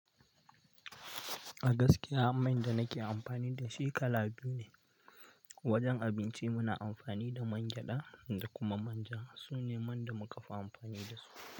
A gaskiya man da nake amfani da shi kala biyu ne. Wajen abinci muna amfani da man gyaɗa da kuma manja. Su ne man da muka fi amfani da su.